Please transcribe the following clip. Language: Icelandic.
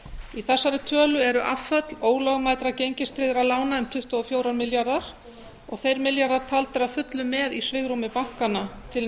í þessari tölu eru afföll ólögmætra gengistryggðra lána um tuttugu og fjórir milljarðar og þeir milljarðar taldir að fullu með í svigrúmi bankanna til